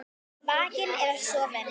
Vakinn eða sofinn.